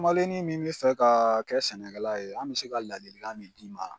Kamalennin min be fɛ ka kɛ sɛnɛkɛla ye an be se ka ladilikan min d'i ma